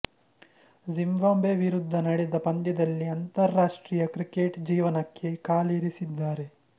Zimbabwe ವಿರುದ್ದ ನಡೆದ ಪಂದ್ಯದಲ್ಲಿ ಅಂತರರಾಷ್ಟ್ರೀಯ ಕ್ರಿಕೆಟ್ ಜೀವನಕ್ಕೆ ಕಾಲಿರಿಸಿದ್ದಾರೆ